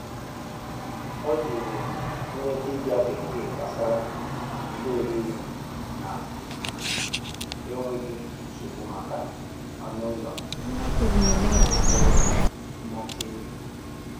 Ọ jụrụ onye dibia bekee gbasara ihe oriri na um enweghị nsogbu maka anụ ụlọ um nwere mmachi nri.